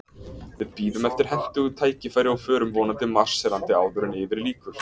Við bíðum eftir hentugu tækifæri, og förum vonandi marserandi áður en yfir lýkur.